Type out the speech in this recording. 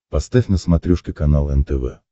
поставь на смотрешке канал нтв